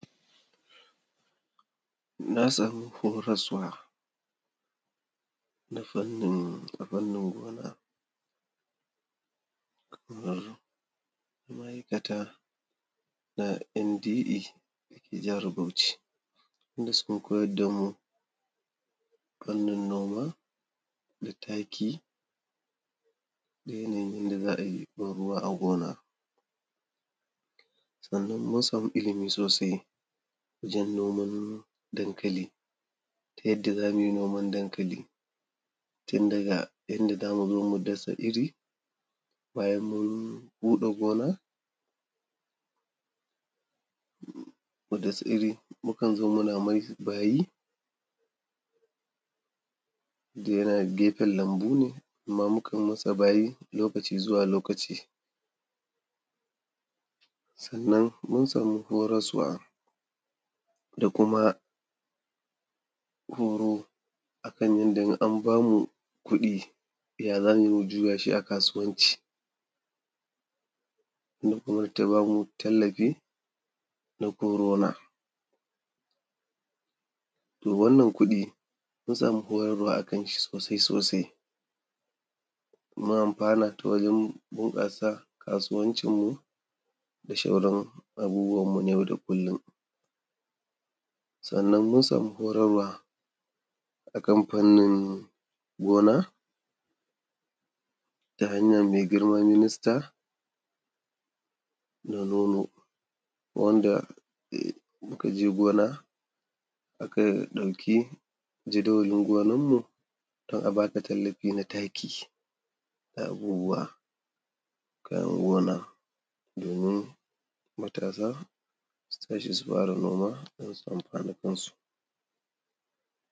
Na samu horaswa, na fannin abin nan, gona kamar ma’aikata na NDE da ke jihar Bauchi, inda suka koyar da mu fannin noma da taki, da yanayin yanda za a yi ban ruwa a gona. Sannan mun samu ilimi sosai wajen noman dankali yadda za mu yi noman dankali, tun daga inda za mu zo mu dasa iri, bayan mun huɗa gona, dasa iri, mukan zo muna mai bayi don yana gefen lambu ne, amma mukan yi masa bayi, lokaci zuwa lokaci. Sannan mun samu horaswa da kuma horo a kan yanda in an ba mu kuɗi, ya za mu yi, mu juya shi a kasuwanci. Hukumar kuma ta ba mu tallafi na Corona. To wannan kuɗi, mun samu horarwa a kanshi sosai sosai, mun amfana ta wajen bunƙasa kasuwancinmu da shauran abubuwanmu na yau da kullum. Sannan mun samun horarwa a kan fannin gona ta hanyar mai girma Minista Na Nono, wanda muka je gona, aka ɗauki jadawalin gonanmu, don a ba ka tallafi na taki da abubuwa, kayan gona domin matasa su tashi su fara noma don su samu na kansu.